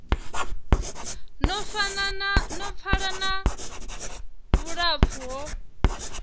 no pfala na vhulapfu ho